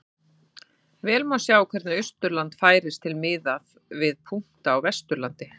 Vel má sjá hvernig Austurland færist til miðað við punkta á Vesturlandi.